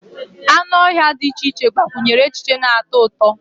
Anụ ọhịa dị iche iche gbakwunyere echiche na-atọ ụtọ